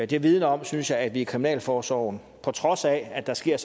det vidner om synes jeg at medarbejderne i kriminalforsorgen på trods af at der sker